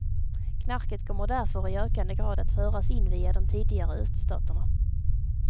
Knarket kommer därför i ökande grad att föras in via de tidigare öststaterna.